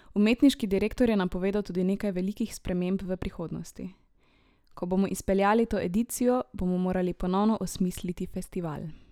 Umetniški direktor je napovedal tudi nekaj velikih sprememb v prihodnosti: "Ko bomo izpeljali to edicijo, bomo morali ponovno osmisliti festival.